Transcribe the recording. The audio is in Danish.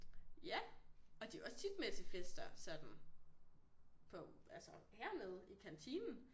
Ja og de også tit med til fester sådan på altså hernede i kantinen